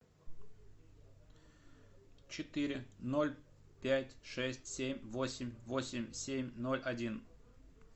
четыре ноль пять шесть семь восемь восемь семь ноль один